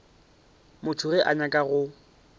motho ge a nyaka go